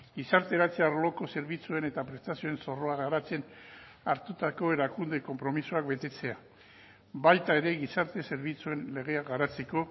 gizarteratze arloko zerbitzuen eta prestazioen zorroa garatzen hartutako erakunde konpromisoak betetzea baita ere gizarte zerbitzuen legea garatzeko